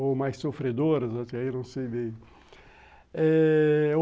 Ou mais sofredoras, até aí não sei bem.